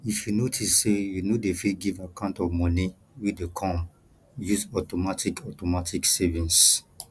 if you notice sey you no dey fit give account of money wey dey come use automatic automatic savings